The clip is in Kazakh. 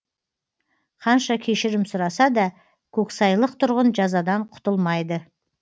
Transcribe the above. қанша кешірім сұраса да көксайлық тұрғын жазадан құтылмайды